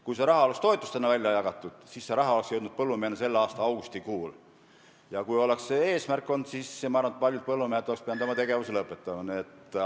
Kui see raha oleks toetustena välja jagatud, siis see raha oleks jõudnud põllumehe kätte selle aasta augustikuus ja ma arvan, et paljud põllumehed oleksid pidanud oma tegevuse lõpetama.